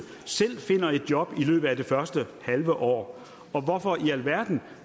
selv finder de job i løbet af det første halve år så hvorfor i alverden